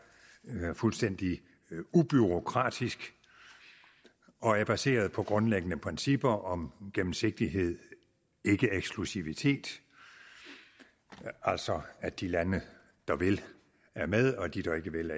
fuldstændig ubureaukratisk og er baseret på grundlæggende principper om gennemsigtighed ikkeeksklusivitet altså at de lande der vil er med og at de der ikke vil